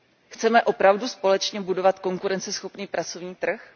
Chceme opravdu společně budovat konkurenceschopný pracovní trh?